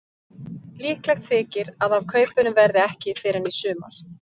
Líklegt þykir að af kaupunum verði ekki fyrr en í sumar.